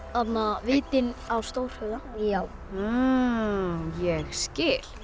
vitinn á Stórhöfða ég skil